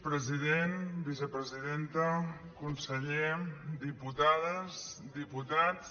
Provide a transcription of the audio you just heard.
president vicepresidenta conseller diputades diputats